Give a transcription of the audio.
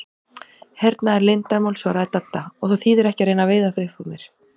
Hernaðarleyndarmál svaraði Dadda, og það þýðir ekki að reyna að veiða það upp úr mér